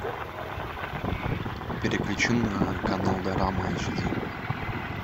переключи на канал дорама эйч ди